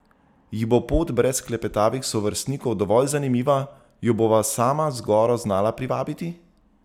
Ji bo pot brez klepetavih sovrstnikov dovolj zanimiva, jo bova sama z goro znala privabiti?